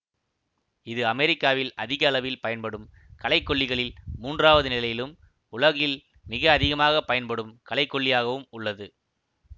இது அமெரிக்காவில் அதிக அளவில் பயன்படும் களைக்கொல்லிகளில் மூன்றாவது நிலையிலும் உலகில் மிக அதிகமாக பயன்படும் களைக்கொல்லியாகவும் உள்ளது